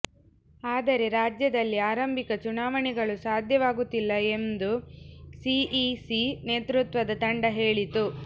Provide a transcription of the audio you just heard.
ಆದರೆ ರಾಜ್ಯದಲ್ಲಿ ಆರಂಭಿಕ ಚುನಾವಣೆಗಳು ಸಾಧ್ಯವಾಗುತ್ತಿಲ್ಲ ಎಂದು ಸಿಇಸಿ ನೇತೃತ್ವದ ತಂಡ ಹೇಳಿತ್ತು